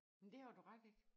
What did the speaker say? Men det har du ret i